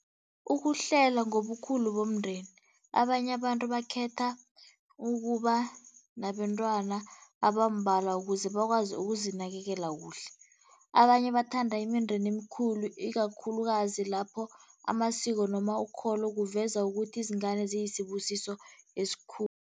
Ukuhlela ngobukhulu bomndeni, abanye abantu bakhetha ukuba nabentwana abambalwa ukuze bakwazi ukuzinakelela kuhle. Abanye bathanda imindeni emikhulu ikakhulukazi lapho amasiko noma ukholo kuveza ukuthi izingane ziyisibusiso